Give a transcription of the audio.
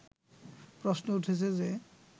প্রশ্ন উঠেছে যে